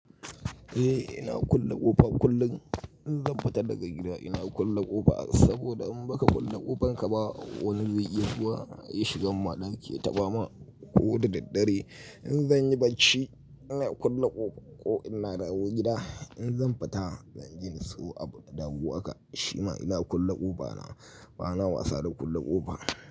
Eh ina kulle ƙofa kullum. In zan fita daga gida ina kulle ƙofa saboda in baka kulle ƙofanka ba wani zai iya zuwa ya shiga. Madinki ya taɓa ma ko da daddare. In zan yi bacci ina kulle ƙofa ko ina dawo gida. In zan fita zan je in siyo abu, da dagu aka. Shima ina kulle ƙofa na. Bana wasa da kulle ƙofa.